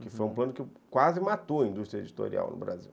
Uhum, que foi um plano que quase matou a indústria editorial no Brasil.